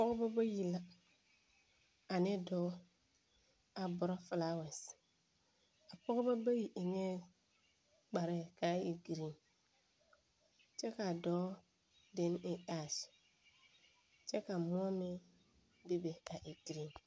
Pͻgebͻ bayi la ane dͻͻ a dorͻ filaawԑse, a pͻgebͻ bayi eŋԑԑ kparԑԑ ka a e giriiŋ kyԑ ka a dͻͻ deni e ԑԑs, kyԑ ka mõͻ meŋ bebe a e gire.